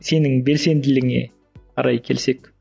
сенің белсенділігіңе қарай келсек